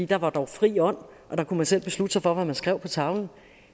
der var dog fri ånd og der kunne man selv beslutte sig for hvad man skrev på tavlen